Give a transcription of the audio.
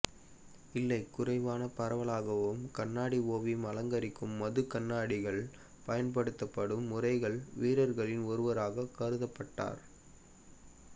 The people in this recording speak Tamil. இல்லை குறைவான பரவலாகவும் கண்ணாடி ஓவியம் அலங்கரிக்கும் மது கண்ணாடிகள் பயன்படுத்தப்படும் முறைகள் வீரர்களில் ஒருவராகவும் கருதப்பட்டார்